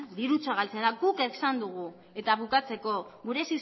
guk esan dugu gure